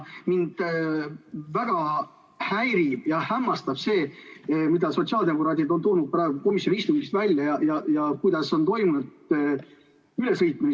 Mind väga häirib ja hämmastab see, mida sotsiaaldemokraadid on praegu komisjoni istungi kohta välja toonud ja kuidas on toimunud ülesõitmine.